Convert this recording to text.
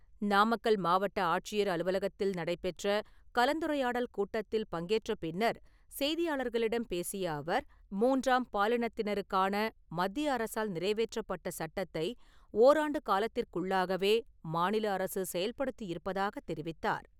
நாமக்கல் மாவட்ட ஆட்சியர் அலுவலகத்தில் நடைபெற்ற கலந்துரையாடல் கூட்டத்தில் பங்கேற்ற பின்னர் செய்தியாளர்களிடம் பேசிய அவர், மூன்றாம் பாலினத்தினருக்காக மத்திய அரசால் நிறைவேற்றப்பட்ட சட்டத்தை ஓராண்டு காலத்திற்குள்ளாகவே மாநில அரசு செயல்படுத்தி இருப்பதாக தெரிவித்தார்.